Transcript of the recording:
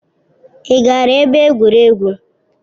Ị gara ebe egwuregwu?